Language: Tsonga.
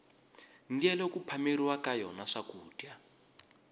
ndyelo ku phameriwa ka yona swakudya